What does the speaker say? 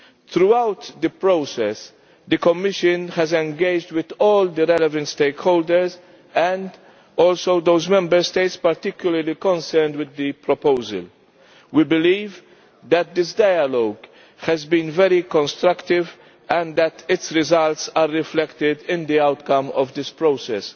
Throughout the process, the Commission has engaged with all the relevant stakeholders and also those Member States particularly concerned with the proposal. We believe that this dialogue has been very constructive and that its results are reflected in the outcome of this process.